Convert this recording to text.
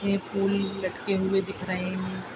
ये फूल लटके हुए दिख रहे हैं।